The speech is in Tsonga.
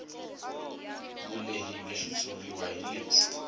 vulehi bya xitshuriwa hi lebyi